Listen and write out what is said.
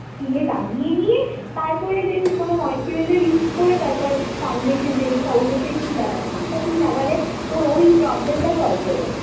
skin এ লাগিয়ে নিয়ে তারপরে কোনো then কোনো moisturizer use করে তারপর foundation যেই foundation তুই লাগাবি সেটা তুই লাগালে তোর ওই problem টা solve হয়ে যাবে।